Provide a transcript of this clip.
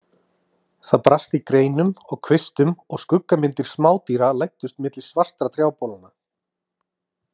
Það brast í greinum og kvistum og skuggamyndir smádýra læddust milli svartra trjábolanna.